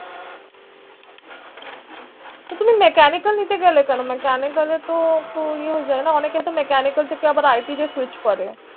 তুমি Mechanical নিতে গেলে কেন Mechanical এ তো তো এয়ে হয়ে যায় না অনেক এ তো হ্ Mechanical থেকে আবার IT তে Switch করে